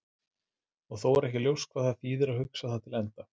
Og þó er ekki ljóst hvað það þýðir að hugsa það til enda.